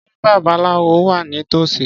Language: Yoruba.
Ṣé babaláwo wà ní tòsí?